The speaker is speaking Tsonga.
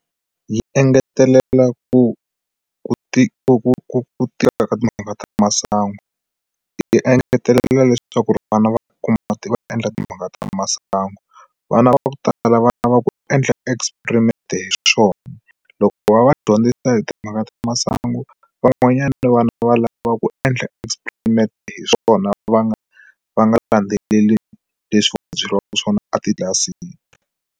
Yi engetelela ku ku ti ku tika ka timhaka ta masangu ti engetelela leswaku ri vana va kuma ti va endla timhaka ta masangu vana va ku tala vana va experiment hi swona loko va va dyondzisa hi timhaka ta masangu van'wanyana ni vana va lava ku endla experiment hi swona va nga va nga landzeleli leswi va byeriwaka swona a titlilasini.